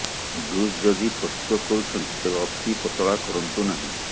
juice ଯଦି ପ୍ରସ୍ତୁତ କରୁଛନ୍ତି ତେବେ ଅତି ପତଳା କରନ୍ତୁ ନାହିଁ